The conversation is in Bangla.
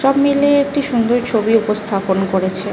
সব মিলিয়ে একটি সুন্দর ছবি উপস্থাপন করেছে।